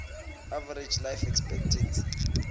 average life expectancy